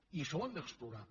i això ho hem d’explorar